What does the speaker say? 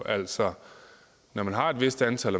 altså man har et vist antal